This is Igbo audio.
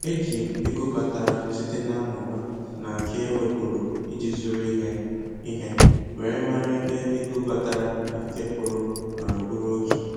Eji m ego batara site na mmụba na nke ewepuru iji zụrụ ihe ihe were mara ebe ego batara na nke pụrụ nọrọ bụrụ otu